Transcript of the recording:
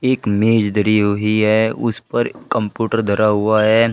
एक मेज धरी हुई है उस पर कंप्यूटर धरा हुआ है।